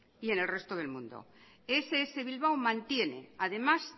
y en el resto del mundo ess bilbao mantiene además